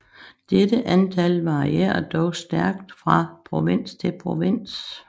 Dette antal varierer dog stærkt fra provins til provins